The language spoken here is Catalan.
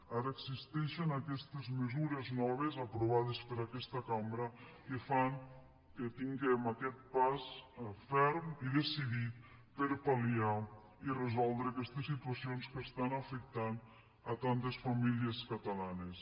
ara existeixen aquestes mesures noves aprovades per aquesta cambra que fan que tinguem aquest pas ferm i decidit per a pal·cions que estan afectant tantes famílies catalanes